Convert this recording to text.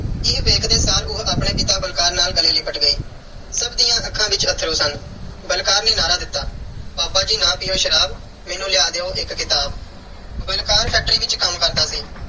ਇਹ ਵੇਖਦੇ ਸਾਰ ਉਹ ਆਪਣੇ ਪਿਤਾ ਬਲਕਾਰ ਨਾਲ ਗਲੇ ਲਿਪਟ ਗਈ। ਸਭ ਦੀਆਂ ਅੱਖਾਂ ਵਿੱਚ ਅੱਥਰੂ ਸਨ। ਬਲਕਾਰ ਨੇ ਨਾਅਰਾ ਦਿੱਤਾ ਪਾਪਾ ਜੀ ਨਾ ਪਿਓ ਸ਼ਰਾਬ, ਮੈਨੂੰ ਲਿਆ ਦਿਓ ਇੱਕ ਕਿਤਾਬ। ਬਲਕਾਰ factory ਵਿੱਚ ਕੰਮ ਕਰਦਾ ਸੀ।